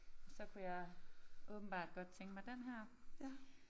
Så kunne jeg åbenbart godt tænke mig den her